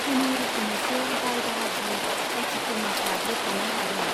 खुनुरुखुमैसो बाय बाहागि , जाति खुरमाफ्रा बोखानो हादों।